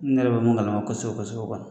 N yɛrɛ be mun gamala kosɛbɛ kosɛbɛ kɔni